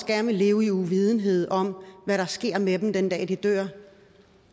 gerne vil leve i uvidenhed om hvad der sker med dem den dag de dør